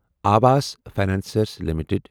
Awas financiers limited